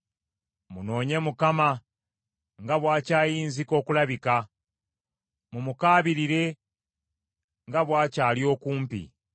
Munoonye Mukama nga bw’akyayinzika okulabika, mumukaabirire nga bw’akyali okumpi.